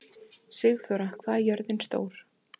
Sigþóra, hvað er jörðin stór?